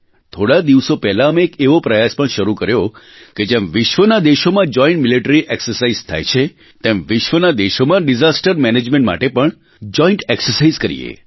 થોડાં દિવસો પહેલા અમે એક એવો પ્રયાસ પણ શરૂ કર્યો કે જેમ વિશ્વનાં દેશોમાં જોઇન્ટ મિલીટરી એક્સરસાઇઝ થાય છે તેમ વિશ્વનાં દેશોમાં ડિઝાસ્ટર મેનેજમેન્ટ માટે પણ જોઇન્ટ એક્સરસાઇઝ કરીએ